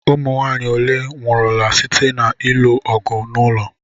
Ụmụnwaanyị ole nwụrụla site na-ilu ọgụ n'ụlọ?